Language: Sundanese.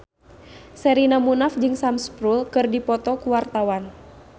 Sherina Munaf jeung Sam Spruell keur dipoto ku wartawan